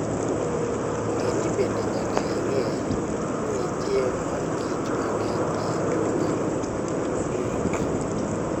Ng'e bende ni nyaka ing'e ni nitie mor kich mang'eny ei chupa.